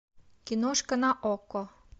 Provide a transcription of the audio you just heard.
киношка на окко